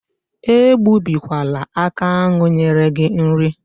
Egbubikwala aka ahụ nyere gị nri.